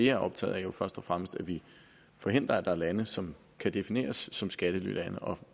er optaget af først og fremmest at vi forhindrer at der er lande som kan defineres som skattelylande og